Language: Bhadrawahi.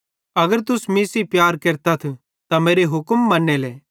अगर तुस मीं सेइं प्यार केरतथ त मेरे हुक्मन मन्नेले